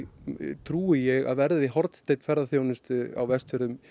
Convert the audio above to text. trúi ég að verði hornsteinn ferðaþjónustu á Vestfjörðum